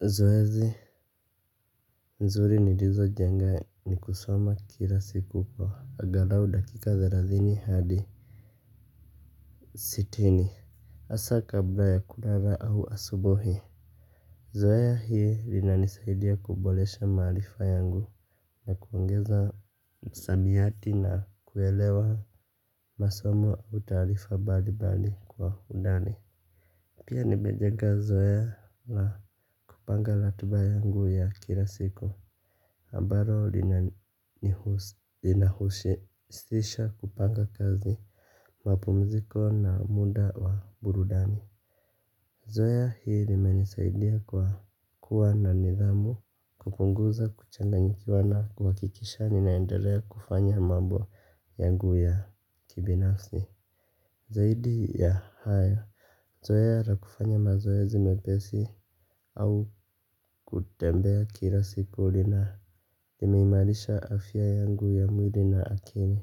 Zoezi nzuri nilizojenga ni kusoma kila siku kwa angalau dakika thelathini hadi sitini. Hasaa kabla ya kulala au asubuhi. Zoea hii linanisaidia kuboresha maarifa yangu, na kuongeza msamiati na kuelewa masomo au taarifa mbali mbali kwa undani. Pia nimejenga zoea na kupanga ratiba yangu ya kila siku, ambalo linahusisha kupanga kazi, mapumziko na muda wa burudani. Zoea hii limenisaidia kwa kuwa na nidhamu kupunguza kuchanganyikiwa na kuhakikisha ninaendelea kufanya mambo yangu ya kibinafsi. Zaidi ya hayo zoea la kufanya mazoezi mepesi au kutembea kila siku lina nimeimarisha afya yangu ya mwili na akili.